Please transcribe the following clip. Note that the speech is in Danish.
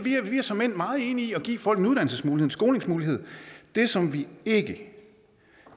er såmænd meget enige i at give folk en uddannelsesmulighed en skolingsmulighed det som vi ikke